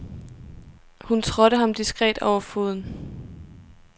Hun trådte ham diskret over foden.